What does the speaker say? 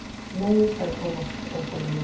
Nei sagði Thomas óþolinmóður.